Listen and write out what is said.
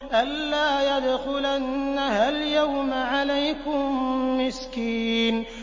أَن لَّا يَدْخُلَنَّهَا الْيَوْمَ عَلَيْكُم مِّسْكِينٌ